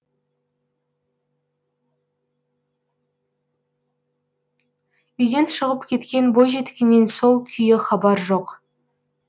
үйден шығып кеткен бойжеткеннен сол күйі хабар жоқ